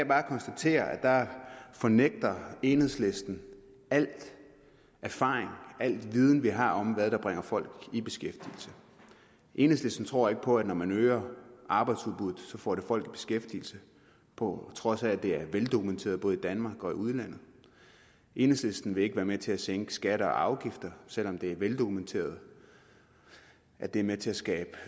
bare konstatere at der fornægter enhedslisten al erfaring og viden vi har om hvad der bringer folk i beskæftigelse enhedslisten tror ikke på at det når man øger arbejdsudbuddet får folk i beskæftigelse på trods af at det er veldokumenteret både i danmark og i udlandet enhedslisten vil ikke være med til at sænke skatter og afgifter selv om det er veldokumenteret at det er med til at skabe